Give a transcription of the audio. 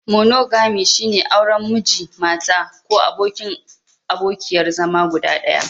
Monogami, shine auren Miji/Mata ko abokin/abokiyar zama guda ɗaya.